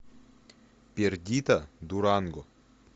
пердита дуранго